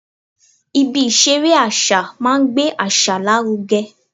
Ibi ìṣeré àṣà máa ń gbé àṣà lárugẹ